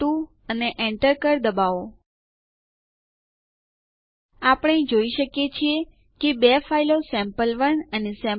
user account સુયોજનો બદલવા માટે યુઝરમોડ આદેશ